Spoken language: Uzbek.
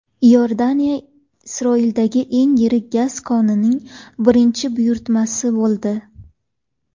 Iordaniya Isroildagi eng yirik gaz konining birinchi buyurtmachisi bo‘ldi.